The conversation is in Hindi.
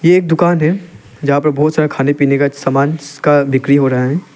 एक दुकान है जहां पे बहुत सारा खाने पीने का सामान का बिक्री हो रहा है।